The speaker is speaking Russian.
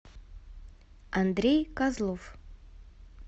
андрей козлов